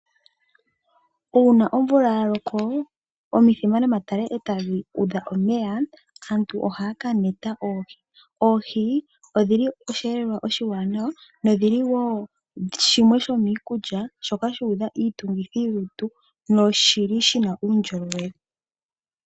Kuna omvula ya loko, omithima nomatale eetadhi udha omeya , aantu ohaya ka neta oohi. Oohi odhili osheelelwa oshaa nawa, nodhili woo shimwe shomiikulya shoka shuudha iitungithilutu noshili shina uundjolowele.